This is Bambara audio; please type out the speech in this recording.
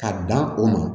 Ka dan o ma